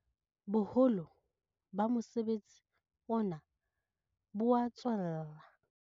Boholo ba mosebetsi ona bo a tswella.